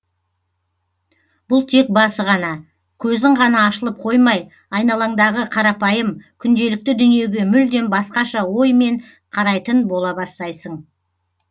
бұл тек басы ғана көзің ғана ашылып қоймай айналаңдағы қарапайым күнделікті дүниеге мүлдем басқаша оймен қарайтын бола бастайсың